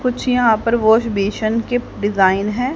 कुछ यहां पर वॉश बेसन कीप डिजाइन हैं।